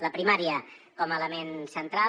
la primària com a element central